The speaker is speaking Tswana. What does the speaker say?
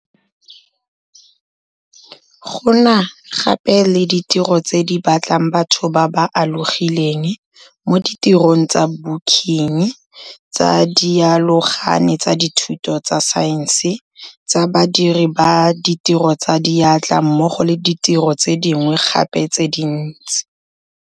Go na gape le ditiro tse di batlang batho ba ba alogileng, mo ditirong tsa booking, tsa dialogane tsa dithuto tsa saense, tsa badiri ba ditiro tsa diatla mmogo le ditiro tse dingwe gape tse dintsi.